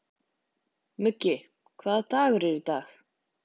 Muggi, hvaða dagur er í dag?